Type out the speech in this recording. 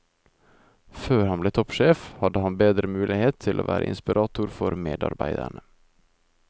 Før han ble toppsjef, hadde han bedre mulighet til å være inspirator for medarbeiderne.